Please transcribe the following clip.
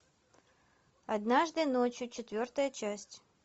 однажды ночью четвертая часть